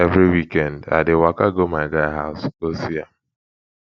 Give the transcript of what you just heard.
every weekend i dey waka go my guy house go see am